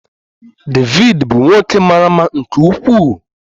David bụ nwoke mara mma nke ukwuu.